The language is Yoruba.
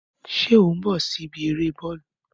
Ṣé o ń bọ̀ wá sí ibi eré Bọ́ọ́lù?